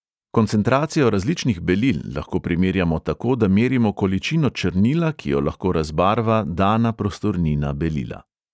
Koncentracijo različnih belil lahko primerjamo tako, da merimo količino črnila, ki jo lahko razbarva dana prostornina belila.